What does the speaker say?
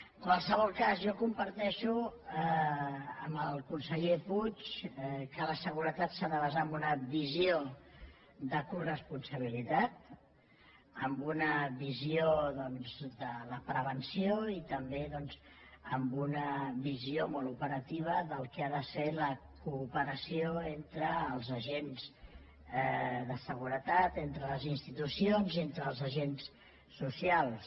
en qualsevol cas jo comparteixo amb el conseller puig que la seguretat s’ha de basar en una visió de coresponsabilitat en una visió doncs de la prevenció i també en una visió molt operativa del que ha de ser la cooperació entre els agents de seguretat entre les institucions i entre els agents socials